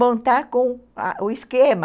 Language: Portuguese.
Montar com o esquema.